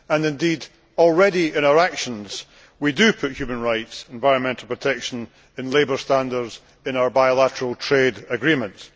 Indeed, already in our actions we do put human rights, environmental protection and labour standards in our bilateral trade agreements.